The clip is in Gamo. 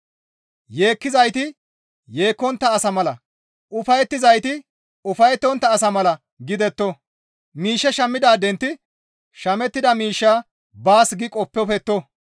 Yeekkizayti yeekkontta asa mala, ufayettizayti ufayettontta asa mala gidetto; miishshe shammidaadenti shamettida miishshaa baas gi qoppofetto.